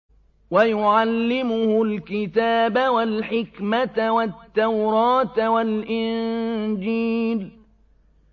وَيُعَلِّمُهُ الْكِتَابَ وَالْحِكْمَةَ وَالتَّوْرَاةَ وَالْإِنجِيلَ